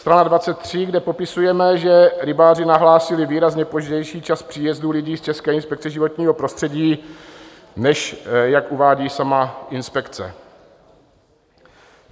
Strana 23, kde popisujeme, že rybáři nahlásili výrazně pozdější čas příjezdu lidí z České inspekce životního prostředí, než jak uvádí sama inspekce.